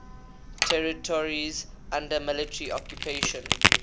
territories under military occupation